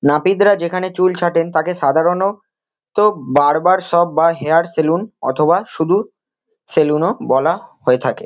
নাপিতরা যেখানে চুল ছাঁটেন তাকে সাধারণ ত বারবার শপ বা হেয়ার সেলুন অথবা শুধু সেলুন -ও বলা হয়ে থাকে।